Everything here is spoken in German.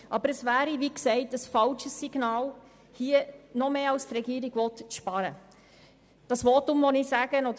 Aber es wäre ein falsches Zeichen, noch mehr zu sparen, als es die Regierung will.